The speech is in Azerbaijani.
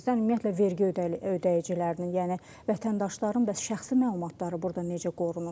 Ümumiyyətlə vergi ödəyicilərinin, yəni vətəndaşların bəs şəxsi məlumatları burda necə qorunur?